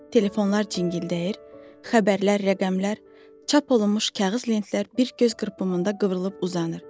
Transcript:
Telefonlar cingildəyir, xəbərlər, rəqəmlər, çap olunmuş kağız lentlər bir göz qırpımında qıvrılıb uzanır.